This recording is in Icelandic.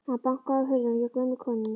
Hann bankaði á hurðina hjá gömlu konunni.